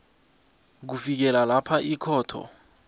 kufikela lapha ikhotho